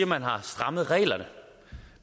man har strammet reglerne